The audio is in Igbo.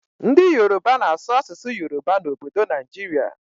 Ndị yoroba na-asụ asụsụ yoroba n'obodo Naijiria.